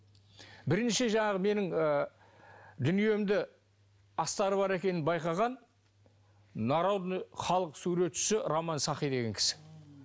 бірінші жаңағы менің ы дүниемді астары бар екенін байқаған народный халық суретшісі роман сахи деген кісі